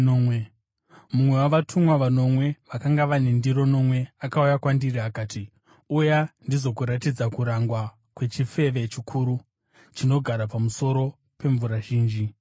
Mumwe wavatumwa vanomwe vakanga vane ndiro nomwe akauya kwandiri akati, “Uya ndizokuratidza kurangwa kwechifeve chikuru, chinogara pamusoro pemvura zhinji.